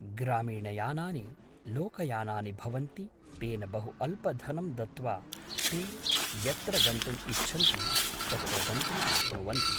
ग्रामीणयानानि लोकयानानि भवन्ति तेन बहु अल्पधनं दत्वा ते यत्र गन्तुं इच्छन्ति तत्र गन्तुं शक्नुवन्ति